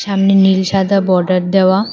ওখানে নীল সাদা বর্ডার দেওয়া